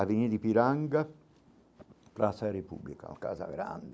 Avenida Ipiranga, Praça República, uma casa grande.